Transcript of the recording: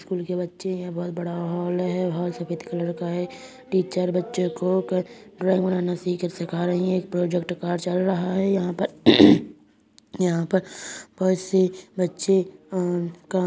school के बच्चे हैं बहोत बड़ा हॉल है | हॉल सफ़ेद कलर का है | टीचर बच्चो को क ड्राइंग बनाना सीख सीखा रही है | प्रॉजेक्ट कार्य चल रहा है | यहां पर यहां पर बहोत से बच्चे अ का --